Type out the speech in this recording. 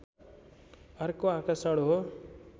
अर्को आकर्षण हो